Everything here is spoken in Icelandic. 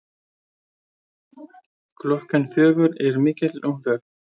Klukkan fjögur er mikil umferð.